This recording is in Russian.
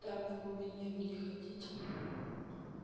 там в глубине вы не хотите